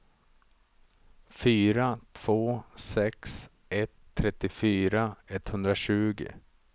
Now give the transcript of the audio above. fyra två sex ett trettiofyra etthundratjugo